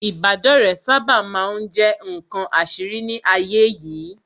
Ìbádọ́rẹ̀ẹ́ sábà ma ń jẹ́ ǹkan àṣírí ní ayé yìí